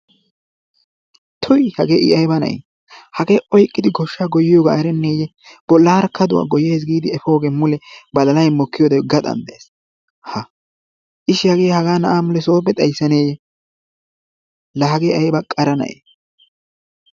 Tuy hagee i ayiba na'ee! hagee i oyiqqidi goshsha goyyiyoogaa erenneeyye? Bollaara kaduwa oyikkidi goyyayis giidi efoogee mule badalay mokkiyodee gaxan dees. Ishshi hagee hagaa na'aa mule sooppe xayissaneeyye? laa hagee ayiba qara na'ee!